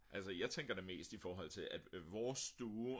altså jeg tænker da mest i forhold til at vores stue